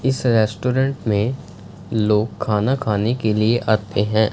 इस रेस्टोरेंट में लोग खाना खाने के लिए आते हैं।